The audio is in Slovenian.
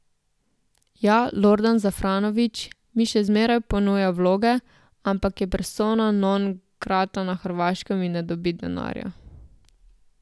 Ja, Lordan Zafranović mi še zmeraj ponuja vloge, ampak je persona non grata na Hrvaškem in ne dobi denarja.